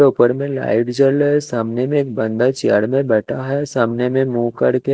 उपर में लाइट जल रहा है सामने में एक बन्दा चेयर में बेटा है सामने में मु कर के--